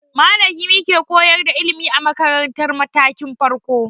Malami ke koyar da ilimi a makaratar matakin farko.